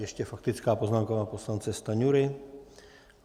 Ještě faktická poznámka pana poslance Stanjury.